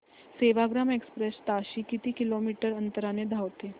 Sevagram express ताशी किती kilometre अंतराने धावते